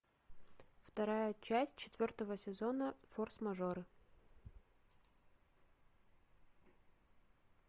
вторая часть четвертого сезона форс мажоры